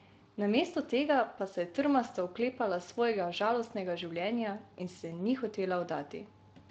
Namesto tega pa se je trmasto oklepala svojega žalostnega življenja in se ni hotela vdati.